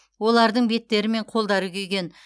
олардың беттері мен қолдары күйген